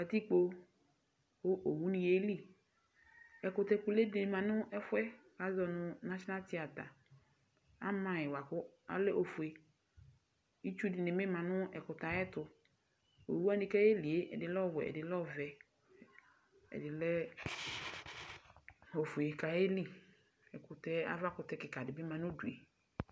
Katikpo kʋ owu ni yeli Ɛkʋtɛ kʋlʋ di ma nʋ ɛfuɛ, azɔ nʋ nasinal tiyata Ama yi boa kʋ ɛlɛ ofue Itsu dini bi ma nʋ ɛkʋtɛ yɛ ayɛtʋ Owu wani boa kʋ ayeli e, ɛdini lɛ ɔwɛ, ɛdini lɛ ɔvɛ, ɛdi lɛ ofue kayeli Ɛkʋtɛ, ava kʋtɛ kika di bi ma nʋ udu e